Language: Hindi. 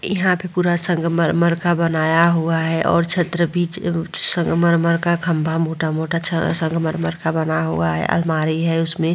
यहाँ पे पूरा सगमरमर का बनाया हुआ है और छत्र भी संगमरमर का खम्भा मोटा-मोटा संगमरमर का बना हुआ है अलमारी हैउसमें ।